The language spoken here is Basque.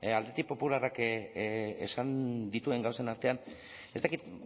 alderdi popularrak esan dituen gauzen artean ez dakit